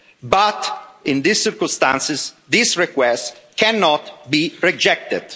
But, in these circumstances, this request cannot be rejected.